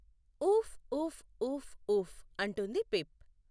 ఊఫ్, ఊఫ్, ఊఫ్, ఊఫ్, అంటుంది పిప్.